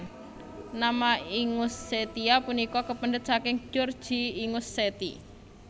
Nama Ingushetia punika kapendhet saking Georgia Ingusheti